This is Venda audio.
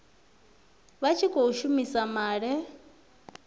vha tshi khou shumisa maḽe